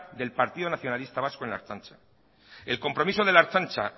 del partido nacionalista vasco en la ertzaintza el compromiso de la ertzaintza